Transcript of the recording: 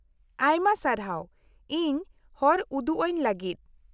-ᱟᱭᱢᱟ ᱥᱟᱨᱦᱟᱣ ᱤᱧ ᱦᱚᱨ ᱩᱫᱩᱜ ᱟᱹᱧ ᱞᱟᱹᱜᱤᱫ ᱾